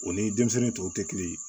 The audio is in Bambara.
O ni denmisɛnniw tɔw tɛ kelen ye